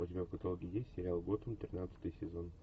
у тебя в каталоге есть сериал готэм тринадцатый сезон